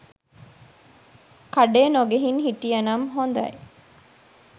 කඩේ නොගිහින් හිටියනම් හොදයි.